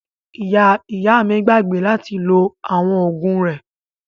Ìyá ìyá mi gbàgbé láti lo àwọn oògùn rẹ̀.